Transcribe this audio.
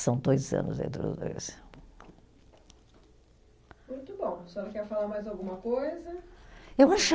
São dois anos aí dos dois. Muito bom, a senhora quer falar mais alguma coisa? Eu acho